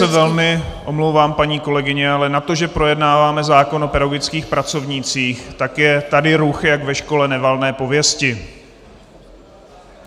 Já se velmi omlouvám, paní kolegyně, ale na to, že projednáváme zákon o pedagogických pracovnících, tak je tady ruch jak ve škole nevalné pověsti.